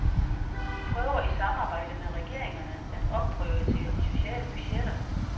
De prøver i samarbejde med regeringerne at opprioritere de sociale budgetter.